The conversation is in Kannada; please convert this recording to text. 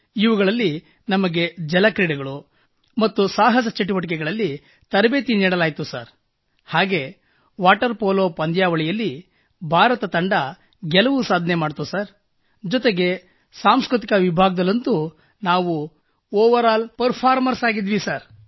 ಇವುಗಳಲ್ಲಿ ನಮಗೆ ಜಲ ಕ್ರೀಡೆಗಳು ಮತ್ತು ಸಾಹಸ ಚಟುವಟಿಕೆಗಳಲ್ಲಿ ತರಬೇತಿ ನೀಡಲಾಯಿತು ಹಾಗೂ ವಾಟರ್ ಪೋಲೊ ಪಂದ್ಯಾವಳಿಯಲ್ಲಿ ಭಾರತದ ತಂಡ ಗೆಲುವು ಸಾಧಿಸಿತು ಸರ್ ಮತ್ತು ಸಾಂಸ್ಕøತಿಕ ವಿಭಾಗದಲ್ಲಂತೂ ನಾವು ಓವರ್ ಆಲ್ ಫರ್ಫಾರ್ಮರ್ಸ್ ಆಗಿದ್ದೆವು ಸರ್